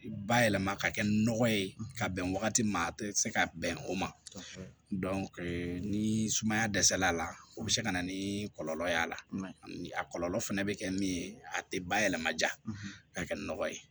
Bayɛlɛma ka kɛ nɔgɔ ye ka bɛn wagati ma a tɛ se ka bɛn o ma ni sumaya dɛsɛ l'a la o bɛ se ka na ni kɔlɔlɔ y'a la a kɔlɔlɔ fɛnɛ bɛ kɛ min ye a tɛ bayɛlɛmaja ka kɛ nɔgɔ ye